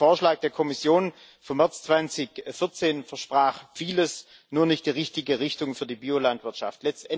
Der ursprüngliche Vorschlag der Kommission vom März 2014 versprach vieles, nur nicht die richtige Richtung für die Biolandwirtschaft.